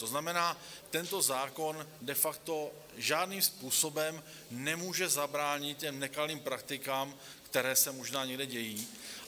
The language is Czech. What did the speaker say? To znamená, tento zákon de facto žádným způsobem nemůže zabránit těm nekalým praktikám, které se možná někde dějí.